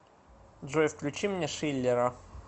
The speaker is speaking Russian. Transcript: джой включи мне шиллера